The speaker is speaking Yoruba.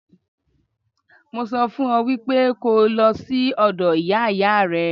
Mo sọ fún ọ wípé kó o lọ sí ọ̀dọ̀ Ìyá Ìyá rẹ.